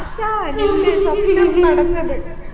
ആർഷാ നിന്നെ തപ്പി നമ്മ നടന്നത്